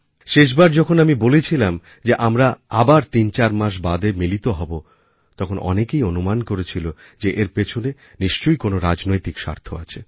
শেষবার যখন আমি বলেছিলাম যে আমরাআবার ৩৪ মাস বাদে মিলিত হবো তখন অনেকেই অনুমান করেছিল যে এর পেছনে নিশ্চই কোনো রাজনৈতিক স্বার্থআছে